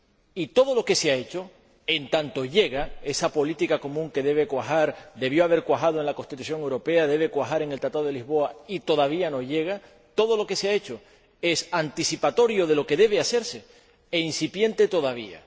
Y todo lo que se ha hecho, en tanto llega esa política común que debe cuajar, debió haber cuajado en la Constitución Europea, debe cuajar en el Tratado de Lisboa, y todavía no llega, todo lo que se ha hecho es anticipatorio de lo que debe hacerse e incipiente todavía.